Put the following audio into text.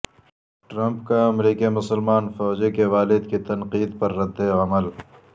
Trump کا امریکی مسلمان فوجی کے والد کی تنقید پر ردعمل